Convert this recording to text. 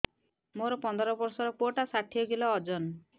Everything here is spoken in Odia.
ମୋର ପନ୍ଦର ଵର୍ଷର ପୁଅ ଟା ଷାଠିଏ କିଲୋ ଅଜନ